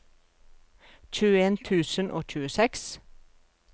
tjueen tusen og tjueseks